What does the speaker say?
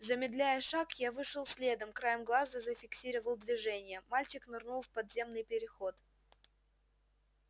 замедляя шаг я вышел следом краем глаза зафиксировал движение мальчик нырнул в подземный переход